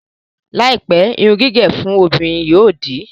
Láìpẹ́, irun gígẹ̀ fún obìnrin yóò di